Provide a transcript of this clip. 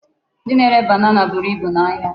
Ndị na-ere banana buru ibu n'ahịa.